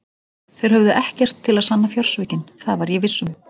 Þeir höfðu ekkert til að sanna fjársvikin, það var ég viss um.